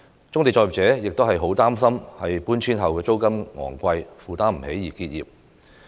棕地作業者亦很擔心負擔不起搬遷後的昂貴租金而結業。